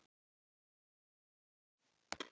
Þær eru því oft kallaðar lífsnauðsynlegar fitusýrur.